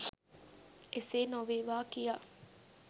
එසේ නොවේවා කියා